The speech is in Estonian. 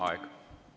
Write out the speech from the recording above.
Aeg!